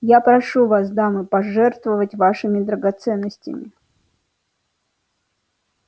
я прошу вас дамы пожертвовать вашими драгоценностями